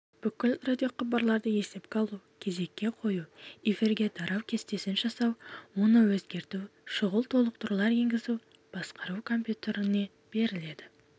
бүкіл радиохабарларды есепке алу кезекке қою эфирге тарау кестесін жасау оны өзгерту шұғыл толықтырулар енгізу басқару компьютеріне беріледі